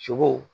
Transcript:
Sogo